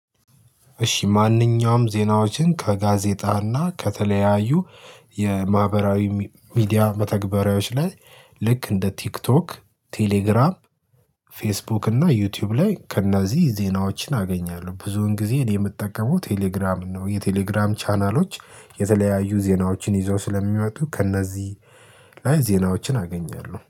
እሺ ማንኛውም ዜናዎችን ከጋዜጣና ከተለያዩ የማህበራዊ ሚዲያ መተግበሪያዎች ላይ ልክ እንደ ቲክቶክ ቴሌግራም ፌስቡክ እና ዩቲዩብ ላይ ከእነዚህ ዜናዎችን አገኛለሁ ብዙውን ጊዜ እኔ የምጠቀመው ቴሌግራምን ነው። የቴሌግራም ቻናሎች የተለያዩ ዜናዎችን ይዘው ስለሚይወጡ ከእነዚህ ላይ ዜናዎችን አገኛለሁ